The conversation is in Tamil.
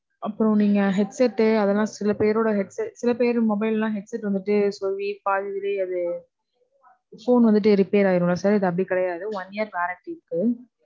அப்போ நீங்க headset ட்டு அதெல்லாம், சில பேருடைய head டு, சில பேரு mobile லாம் headset வந்துட்டு phone வந்துட்டு repair ஆயிரும்ல sir. இது அப்படி கிடையாது.